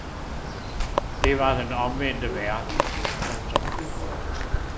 Det var den omvendte verden. punktum